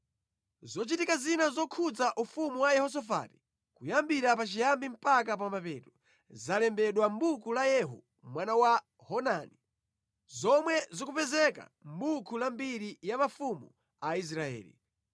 Zochitika zina zokhudza ufumu wa Yehosafati, kuyambira pachiyambi mpaka pa mapeto, zalembedwa mʼbuku la Yehu mwana wa Hanani, zomwe zikupezeka mʼbuku la mbiri ya mafumu a Israeli.